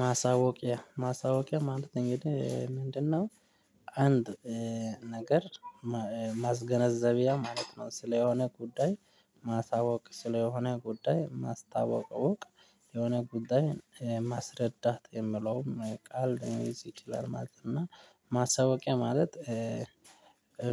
ማሳወቂያ ማሳወቂያ ማለት እንግዲህ ምንድነው አንድ ነገር ማስገነዘቢያ ማለት ነው ስለሆነ ጉዳይ ማሳወቅ ስለሆነ ጉዳይ ማስታወቅ እወቅ የሆነ ጉዳይ ማስረዳት የምለውም ቃል ነው ይችላል ማለት አና ማሳወቂያ ማለት